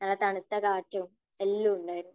നല്ല തണുത്ത കാറ്റും എല്ലാം ഉണ്ടായിരുന്നു.